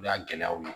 O y'a gɛlɛyaw ye